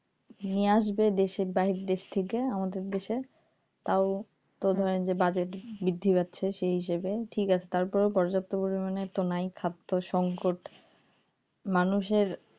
নিয়ে আসবে দেশের বাহির দেশ থেকে আমাদের দেশে তাও তো ধরেন যে বাজেট বৃদ্ধি পাচ্ছে সেই হিসেবে ঠিক আছে তারপরেও পর্যাপ্ত পরিমাণে তো নাই খাদ্য সংকট মানুষের